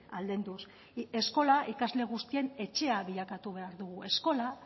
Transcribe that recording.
aldenduz eskola ikasle guztien etxea bilakatu behar dugu eskola